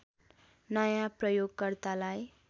नयाँ प्रयोगकर्तालाई